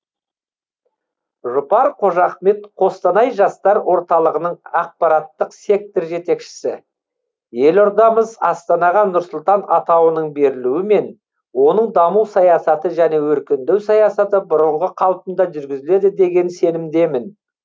жұпар қожахмет қостанай жастар орталығының ақпараттық сектор жетекшісі елордамыз астанаға нұрсұлтан атауының берілуімен оның даму саясаты және өркендеу саясаты бұрынғы қалпында жүргізіледі деген сенімдемін